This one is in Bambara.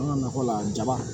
An ka nakɔ la jaba